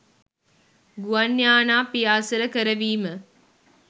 ගුවන් යානා පියාසර කරවීම